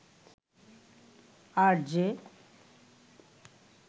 RJ